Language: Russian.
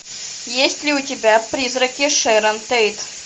есть ли у тебя призраки шэрон тейт